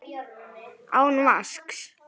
Án vasks.